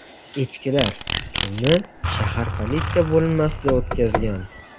Echkilar tunni shahar politsiya bo‘linmasida o‘tkazgan .